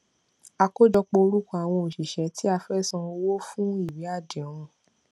àkójọpọ orúkọ àwọn òṣìṣẹ tí a fẹ san owó fún ìwé àdéhùn